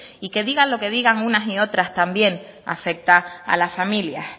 y que digan lo que digan unas y otras también afecta a las familias